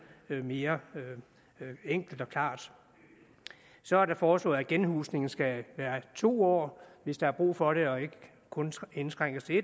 mere enkelt og klart så er der foreslået at genhusning skal vare i to år hvis der er brug for det og ikke indskrænkes til